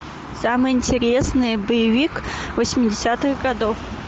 самый интересный боевик восьмидесятых годов